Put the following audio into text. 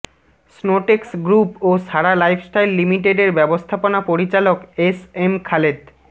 Snowtex group ও Sara lifestyle লিমিটেডের ব্যবস্থাপনা পরিচালক এসএম খালেদ